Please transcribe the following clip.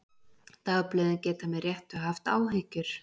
Dagblöðin geta með réttu haft áhyggjur.